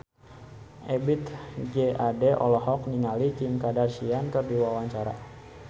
Ebith G. Ade olohok ningali Kim Kardashian keur diwawancara